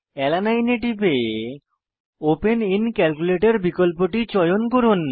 alanine এ টিপে open in calculator বিকল্পটি চয়ন করুন